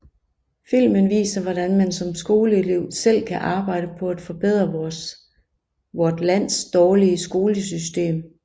Filmen viser hvordan man som skoleelev selv kan arbejde på at forbedre vort lands dårlige skolesystem